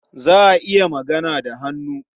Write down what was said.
Za a iya magana da hannu.